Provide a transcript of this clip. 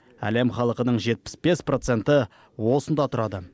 әлем халқының жетпіс бес проценті осында тұрады